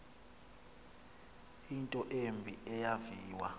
into embi eyaviwa